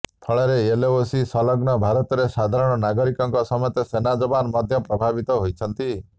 ଫଳରେ ଏଲଓସି ସଲଗ୍ନ ଭାରତରେ ସାଧାରଣ ନାଗରିକଙ୍କ ସମେତ ସେନା ଜବାନ ମଧ୍ୟ ପ୍ରଭାବିତ ହୋଇଛନ୍ତି